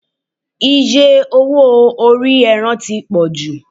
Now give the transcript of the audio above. iye owó ori eran ti wan ju